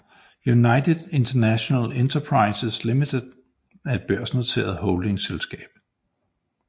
United International Enterprises Limited er et børsnoteret holdingselskab